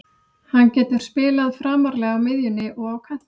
Hann getur spilað framarlega á miðjunni og á kantinum.